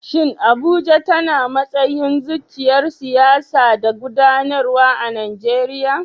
Shin Abuja tana matsayin zuciyar siyasa da gudanarwa a Najeriya?